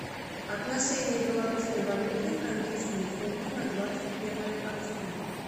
отношение белорусской валюты к английскому фунту на двадцать первое октября